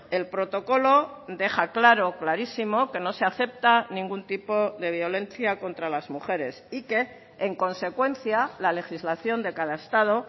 el protocolo deja claro clarísimo que no se acepta ningún tipo de violencia contra las mujeres y que en consecuencia la legislación de cada estado